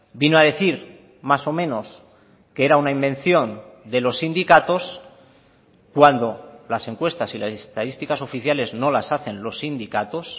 vino a decir más o menos que era una invención de los sindicatos cuando las encuestas y las estadísticas oficiales no las hacen los sindicatos